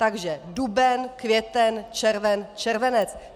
Takže duben, květen, červen, červenec.